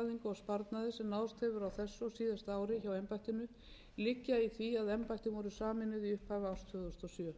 og síðasta ári hjá embættinu liggur í því að embættin voru sameinuð í upphafi árs tvö þúsund og sjö